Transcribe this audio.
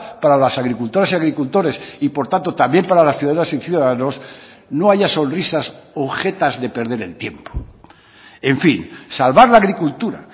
para las agricultoras y agricultores y por tanto también para las ciudadanas y ciudadanos no haya sonrisas o jetas de perder el tiempo en fin salvar la agricultura